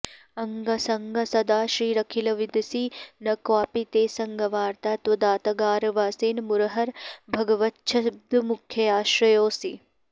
अङ्गासङ्गा सदा श्रीरखिलविदसि न क्वापि ते सङ्गवार्ता तद्वातागारवासिन् मुरहर भगवच्छब्दमुख्याश्रयोऽसि